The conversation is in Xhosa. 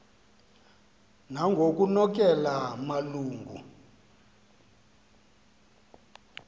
nangoknonkela malu ngu